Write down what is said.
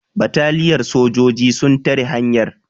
bataliyar sojoji sun tare hanyar